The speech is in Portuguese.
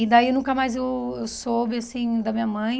E daí nunca mais eu eu soube, assim, da minha mãe,